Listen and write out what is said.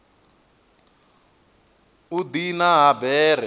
u diana ha bere u